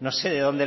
no sé de dónde